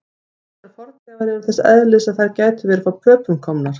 Ýmsar fornleifar eru þess eðlis að þær gætu verið frá Pöpum komnar.